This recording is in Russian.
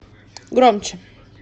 громче